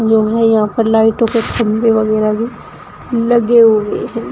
यहां पर लाइटों के खंभे वगैरा भी लगे हुए हैं।